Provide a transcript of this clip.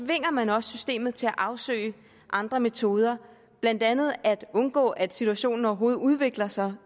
tvinger man også systemet til at afsøge andre metoder blandt andet at undgå at situationen overhovedet udvikler sig